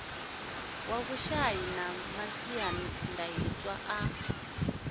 wa vhushai na masiandaitwa a